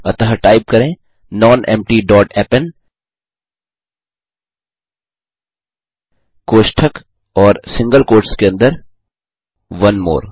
अतः टाइप करें nonempty dot append कोष्ठक और सिंगल कोट्स के अंदर ओनेमोर